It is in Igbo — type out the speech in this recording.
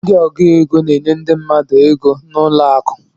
Ndị ọgụ égo n'enye ndị mmadụ égo n'ụlọ akụ.